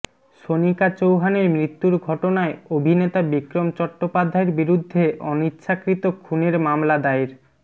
সোনিকা চৌহানের মৃত্যুর ঘটনায় অভিনেতা বিক্রম চট্টোপাধ্যায়ের বিরুদ্ধে অনিচ্ছাকৃত খুনের মামলা দায়ের